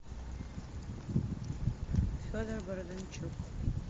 федор бондарчук